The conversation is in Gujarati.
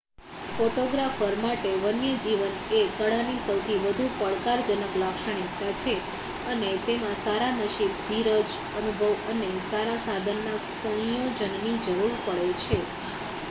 ફોટોગ્રાફર માટે વન્યજીવન એ કળાની સૌથી વધુ પડકારજનક લાક્ષણિકતા છે અને તેમાં સારા નસીબ ધીરજ અનુભવ અને સારા સાધનના સંયોજનની જરૂર પડે છે